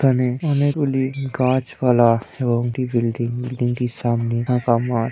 এখানে অনেকগুলি গাছপালা এবং একটি বিল্ডিং | বিল্ডিংটির সামনে ফাঁকা মাঠ।